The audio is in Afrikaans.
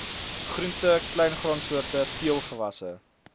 groente kleingraansoorte peulgewasse